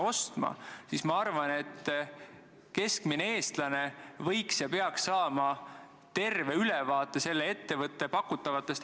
Kõik meie, siin saalis olijad, peame ja kõik komisjonid peavad suhtlema eri sihtgruppidega, sh puudega inimestega.